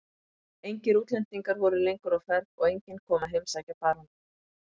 Engir útlendingar voru lengur á ferð og enginn kom að heimsækja baróninn.